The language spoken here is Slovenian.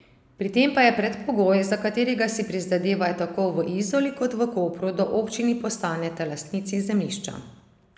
Pri tem pa je predpogoj, za katerega si prizadevajo tako v Izoli kot v Kopru, da občini postaneta lastnici zemljišča.